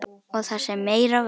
Og það sem meira var.